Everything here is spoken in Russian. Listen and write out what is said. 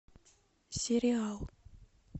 сериал